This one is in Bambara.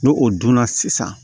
N'o o dunna sisan